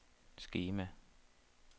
skema